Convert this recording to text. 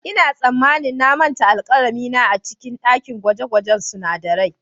Ina tsammanin na manta alkalami na a cikin dakin gwaje-gwajen sunadarai.